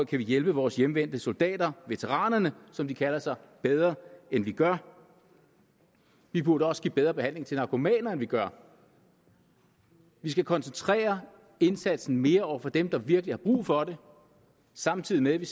vi hjælpe vores hjemvendte soldater veteraner som de kalder sig bedre end vi gør vi burde også give bedre behandling til narkomaner end vi gør vi skal koncentrere indsatsen mere over for dem der virkelig har brug for det samtidig med at vi